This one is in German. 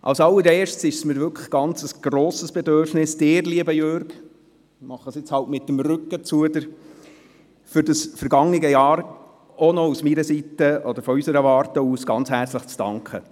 Als Allererstes ist es mir ein grosses Bedürfnis, Ihnen, lieber Jürg Iseli – ich tue es halt mit Ihnen zugewandtem Rücken –, für das vergangene Jahr auch noch von meiner Warte aus beziehungsweise von unserer Seite herzlich zu danken.